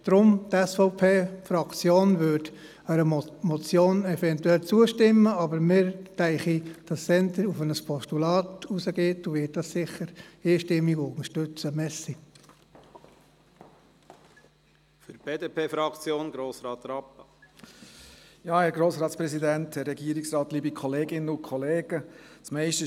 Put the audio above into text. Die SVP-Fraktion würde möglicherweise einer Motion zustimmen, aber wir gehen davon aus, dass wohl eher ein Postulat gewählt wird, und dieses werden wir sicher einstimmig unterstützen.